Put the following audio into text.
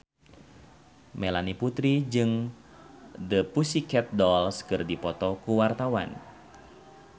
Melanie Putri jeung The Pussycat Dolls keur dipoto ku wartawan